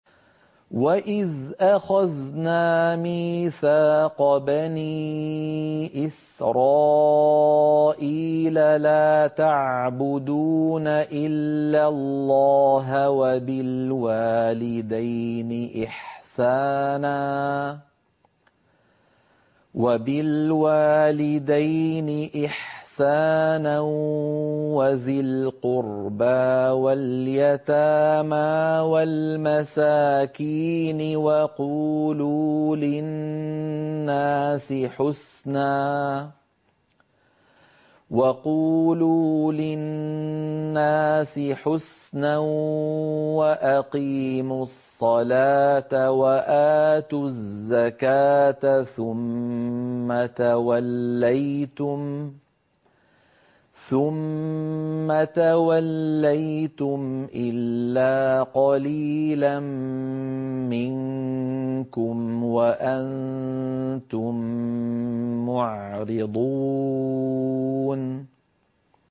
وَإِذْ أَخَذْنَا مِيثَاقَ بَنِي إِسْرَائِيلَ لَا تَعْبُدُونَ إِلَّا اللَّهَ وَبِالْوَالِدَيْنِ إِحْسَانًا وَذِي الْقُرْبَىٰ وَالْيَتَامَىٰ وَالْمَسَاكِينِ وَقُولُوا لِلنَّاسِ حُسْنًا وَأَقِيمُوا الصَّلَاةَ وَآتُوا الزَّكَاةَ ثُمَّ تَوَلَّيْتُمْ إِلَّا قَلِيلًا مِّنكُمْ وَأَنتُم مُّعْرِضُونَ